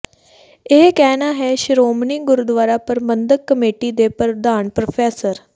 ਇਹ ਕਹਿਣਾ ਹੈ ਸ਼੍ਰੋਮਣੀ ਗੁਰਦੁਆਰਾ ਪ੍ਰਬੰਧਕ ਕਮੇਟੀ ਦੇ ਪ੍ਰਧਾਨ ਪ੍ਰੋ